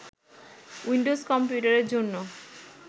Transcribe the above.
Windows কম্পিউটারের জন্য